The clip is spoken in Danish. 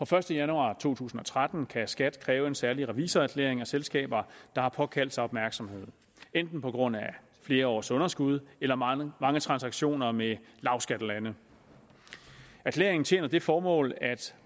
første januar to tusind og tretten kan skat kræve en særlig revisorerklæring af selskaber der har påkaldt sig opmærksomhed enten på grund af flere års underskud eller mange mange transaktioner med lavskattelande erklæringen tjener det formål